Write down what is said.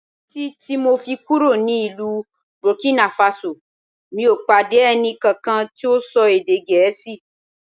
Títí ti mọ̀ fi kúrò ní ìlú Burkina Faso mi ò pàdé ẹnì kankan tí ó ń ṣọ èdè Gẹ̀ẹ́sì